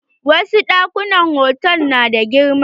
Wasu ɗakunan hotal na da girma.